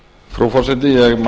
frú forseti ég